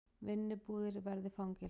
Vinnubúðir verði fangelsi